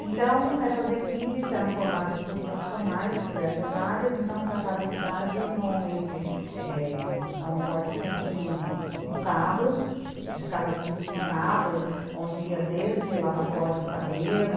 Então essas equipes eram formadas por profissionais de diversas áreas, então para cada cidade normalmente, é... a Uni Forte sempre tinha um carro, de cada equipe tinha um carro, onde ia desde lavatório de cabelo,